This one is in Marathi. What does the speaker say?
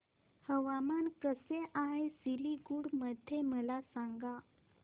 हवामान कसे आहे सिलीगुडी मध्ये मला सांगा